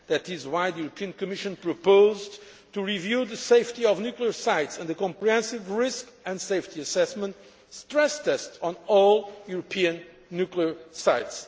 That is why the European Commission proposed to review the safety of nuclear sites and the comprehensive risk and safety assessment on all European nuclear sites.